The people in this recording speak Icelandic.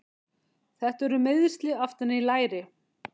Þetta eru meiðsli aftan í læri.